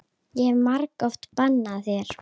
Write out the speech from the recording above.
Ég hef margoft bannað þér.